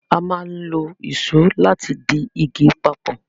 A máa n lo Ìṣó láti dì ìgi papọ